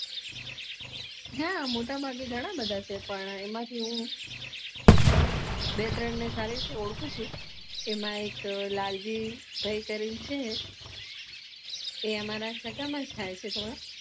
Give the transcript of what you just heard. હા મોટાભાગે ગણા બધા છે પણ એમાંથી હું બે ત્રણ ને સારી રીતે ઓળખું છે એમાં એક લાલાજિ ભાઈ કરીને છે એ અમારા સગામાં થઇ છે તો